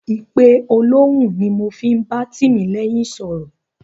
Ìpe olóhùn ni mo fi ń bá Tìmílẹ́yìn sọ̀rọ̀.